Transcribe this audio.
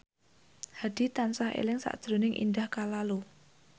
Hadi tansah eling sakjroning Indah Kalalo